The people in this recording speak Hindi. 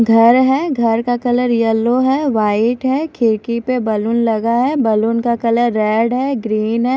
घर है घर का कलर येल्लो है व्हाइट है खिड़की पे बैलून लगा है बैलून का कलर रेड है ग्रीन है।